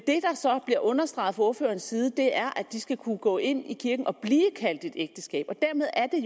så bliver understreget fra ordførerens side er at de skal kunne gå ind i kirken og blive kaldt et ægteskab og dermed er